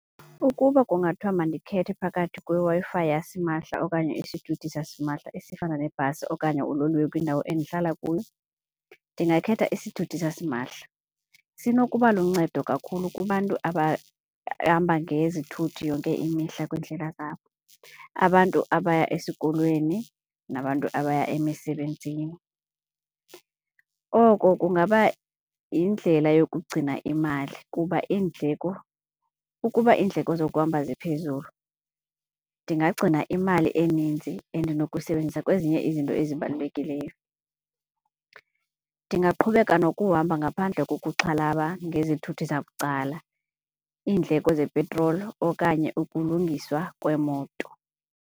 Ukuba kungathiwa mandikhethe phakathi kweWi-Fi yasimahla okanye isithuthi sasimahla esifana nebhasi okanye uloliwe kwindawo endihlala kuyo, ndingakhetha isithuthi sasimahla. Sinokuba luncedo kakhulu kubantu abahamba ngezithuthi yonke imihla kwiindlela zabo, abantu abaya esikolweni nabantu abaya emisebenzini. Oko kungaba yindlela yokugcina imali kuba iindleko. Ukuba iindleko zokuhamba ziphezulu ndingagcina imali eninzi endinokuyisebenzisa kwezinye izinto ezibalulekileyo. Ndingaqhubeka nokuhamba ngaphandle kokuxhalaba ngezithuthi zabucala, iindleko zepetroli okanye ukulungiswa kweemoto.